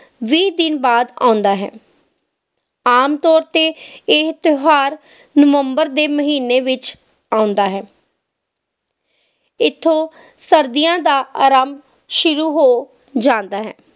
ਵੀਹ ਦਿਨ ਬਾਅਦ ਆਉਂਦਾ ਹੈ ਆਮ ਤੌਰ ਤੇ ਇਹ ਤਿਓਹਾਰ ਨਵੰਬਰ ਦੇ ਮਹੀਨੇ ਵਿਚ ਆਉਂਦਾ ਹੈ ਇਥੋਂ ਸਰਦੀਆਂ ਦਾ ਆਰੰਭ ਸ਼ੁਰੂ ਹੋ ਜਾਂਦਾ ਹੈ